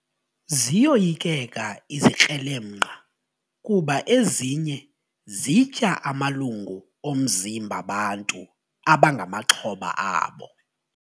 Ziyoyikeka izikrelemnqa kuba ezinye zitya amalungu omzimba bantu abangamaxhoba azo.